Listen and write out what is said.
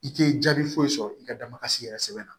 I tɛ jaabi foyi sɔrɔ i ka damakasi yɛrɛ sɛbɛn na